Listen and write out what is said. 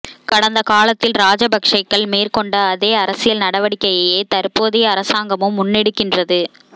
கடந்த காலத்தில் ராஜபக்ஷக்கள் மேற்கொண்ட அதே அரசியல் நடவடிக்கையையே தற்போதைய அரசாங்கமும் முன்னெடுக்கின்றது